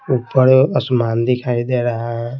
ऊपर असमान दिखाई दे रहा है।